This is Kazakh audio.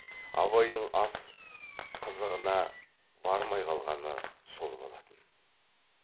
абайдың ас қызығына бармай қалғаны сол болатын